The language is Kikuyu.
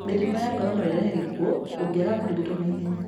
Mĩrimũ ya ngoro no ĩrehe gĩkuũ ũngĩaga kũrigitwo na ihenya.